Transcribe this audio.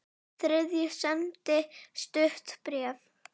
Þriðji sendi stutt bréf